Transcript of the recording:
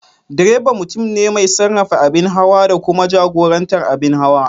Direba mutum ne mai sarrafa abin hawa da kuma jagorantar abin hawa.